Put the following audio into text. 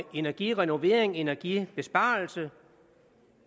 energirenovering og energibesparelse